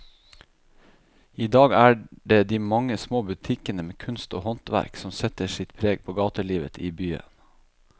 I dag er det de mange små butikkene med kunst og håndverk som setter sitt preg på gatelivet i byen.